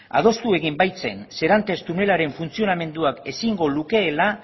adostu egin baitzen serantes tunelaren funtzionamenduak ezingo lukeela